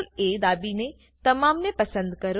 CTRLA દાબીને તમામ ને પસંદ કરો